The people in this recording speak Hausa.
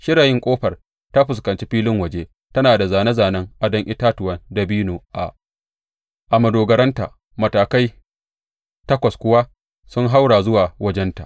Shirayin ƙofar ta fuskanci filin waje; tana da zāne zānen adon itatuwan dabino a madogaranta, matakai takwas kuwa sun haura zuwa wajenta.